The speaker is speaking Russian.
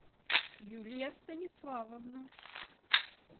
юлия станиславовна